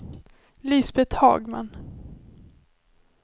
Lisbeth Hagman